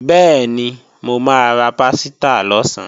Bẹ́ẹ̀ni, mo máa ra pásítà lọ̀sán